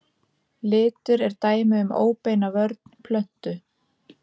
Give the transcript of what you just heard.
Litur er dæmi um óbeina vörn plöntu.